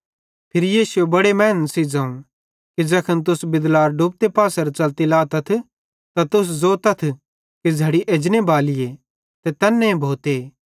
फिरी यीशुए बड़े मैनन् मां ज़ोवं कि ज़ैखन तुस बिदलार डुबते पासेरां च़लती लातथ त तुस ज़ोतथ कि झ़ड़ी एजने बालीए ते तैन्ने भोते